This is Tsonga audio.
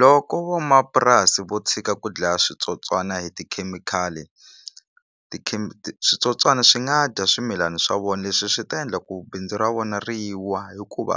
Loko vamapurasi vo tshika ku dlaya switsotswana hi tikhemikhali switsotswani swi nga dya swimilani swa vona leswi swi ta endla ku bindzu ra vona ri wa hikuva